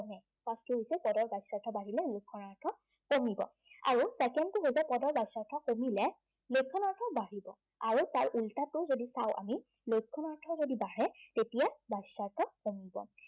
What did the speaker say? কমে। পদটো হৈছে, পদৰ বাচ্য়াৰ্থ বাঢ়িলে লক্ষণাৰ্থ কমিব আৰু second টো হৈছে পদৰ বাচ্য়াৰ্থ কমিলে, লক্ষণাৰ্থ কমিব। আৰু তাৰ ওলোটাতো যদি চাও আমি, লক্ষণাৰ্থ যদি বাঢ়ে তেতিয় বাচ্য়াৰ্থ কমিব।